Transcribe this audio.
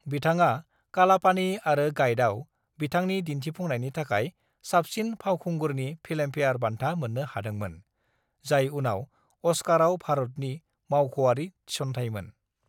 "बिथांआ कालापानी आरो गाइडआव बिथांनि दिन्थिफुंनायनि थाखाय साबसिन फावखुंगुरनि फिल्मफेयार बान्था मोन्नो हादोंमोन, जाय उनाव अस्कारआव भारतनि मावख'आरि थिसनथायमोन।"